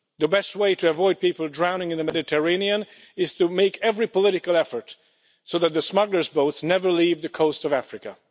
The best way to avoid people drowning in the Mediterranean is to make every political effort so that the smugglers' boats never leave the coast of Africa.